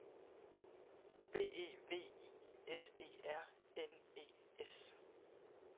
B E V I S E R N E S